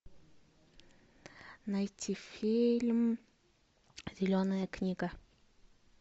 найти фильм зеленая книга